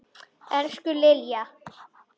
Elsku Lilja.